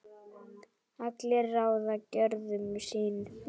allir ráða gjörðum sín